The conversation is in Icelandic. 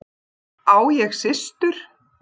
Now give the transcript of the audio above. Á ég systur?